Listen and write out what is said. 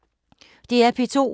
DR P2